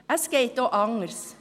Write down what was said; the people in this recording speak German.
Es geht auch anders.